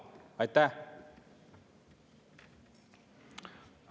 Aitäh!